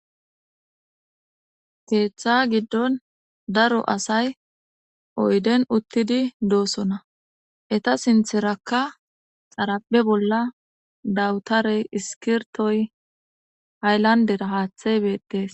Keeththa giddon daro asay oydden uttidi doosona .Rta sintherakka xarapeza bolla dawutaray, iskirtoy ,hayllandera haaththey beettes.